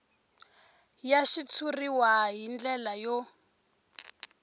ya xitshuriwa hi ndlela yo